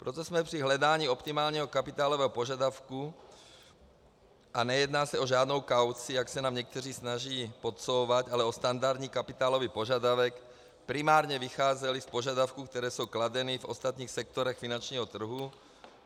Proto jsme při hledání optimálního kapitálového požadavku, a nejedná se o žádnou kauci, jak se nám někteří snaží podsouvat, ale o standardní kapitálový požadavek, primárně vycházeli z požadavků, které jsou kladeny v ostatních sektorech finančního trhu.